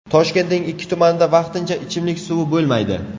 Toshkentning ikki tumanida vaqtincha ichimlik suvi bo‘lmaydi.